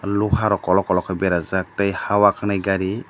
loha rok kolok kolok ke bara jak tei hayoa kanai gari.